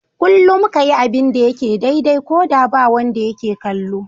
Kullum ka yi abin da yake daidai, ko da ba wanda yake kallo.